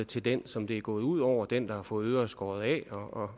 til den som det er gået ud over den der har fået øret skåret af og